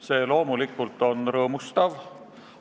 See loomulikult on rõõmustav.